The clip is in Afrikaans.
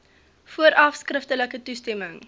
vooraf skriftelike toestemming